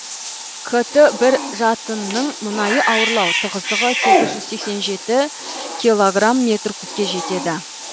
кт бір жатынның мұнайы ауырлау тығыздығы сегіз жүз сексен жеті килограмм метр кубке жетеді